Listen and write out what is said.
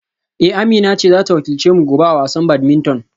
Eh Amina ce za ta wakilce mu gobe a wasan badminton